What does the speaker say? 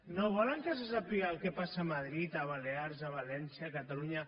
no volen que se sàpiga el que passa a madrid a balears a valència a catalunya